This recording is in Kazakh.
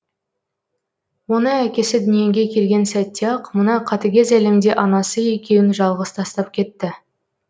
оны әкесі дүниеге келген сәтте ақ мына қатыгез әлемде анасы екеуін жалғыз тастап кетті